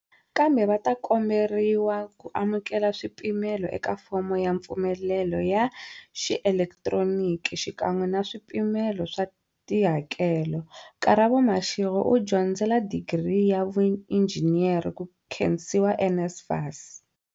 Kambe, va ta komberiwa ku amukela swipimelo eka fomo ya mfumelelo ya xielekitironiki, xikan'we na swipimelo swa tihakelo. Karabo Mashego u dyondzela digiri ya vuinjhiniyara, ku khensiwa NSFAS.